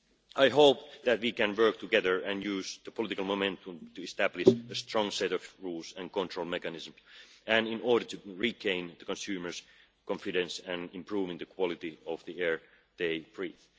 I hope that we can work together and use the political momentum to establish a strong set of rules and control mechanisms in order to regain consumers' confidence and improve the quality of the air they breathe.